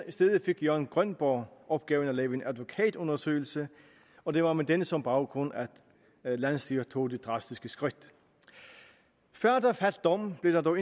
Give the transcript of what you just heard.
i stedet fik jørgen grønborg opgave at lave en advokatundersøgelse og det var med den som baggrund at landsstyret tog det drastiske skridt før der faldt dom blev der dog